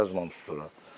Yazmamışıq ora.